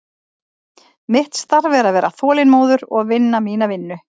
Mitt starf er að vera þolinmóður og vinna mína vinnu.